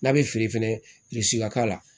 N'a bɛ feere fɛnɛ ka k'a la